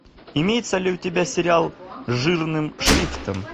имеется ли у тебя сериал жирным шрифтом